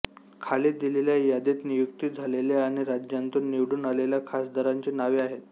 खाली दिलेल्या यादीत नियुक्ती झालेल्या आणि राज्यांतून निवडून आलेल्या खासदारांची नावे आहेत